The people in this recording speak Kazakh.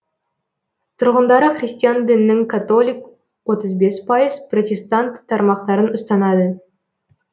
тұрғындары христиан дінінің католик отыз бес пайыз протестант тармақтарын ұстанады